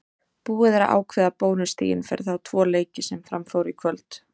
Búið er að ákveða bónusstigin fyrir þá tvo leiki sem fram fóru í kvöld.